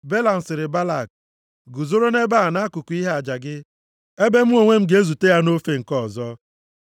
Belam sịrị Balak, “Guzoro nʼebe a nʼakụkụ ihe aja gị, ebe mụ onwe m ga-ezute ya nʼofe nke ọzọ.”